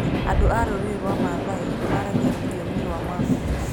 Andũ a rũrĩrĩ rwa Maathai maaragia rũthiomi rwa Maa.